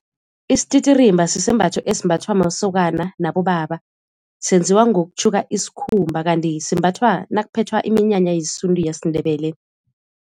Isititirimba sisembatho esimbathwa masokana nabobaba senziwa ngokutjhuka isikhumba kanti simbathwa nakuphethwa iminyanya yesintu yesiNdebele.